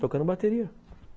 Tocando bateria.